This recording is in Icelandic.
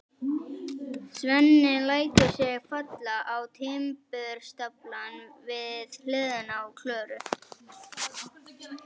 Svenni lætur sig falla á timburstaflann við hliðina á Klöru.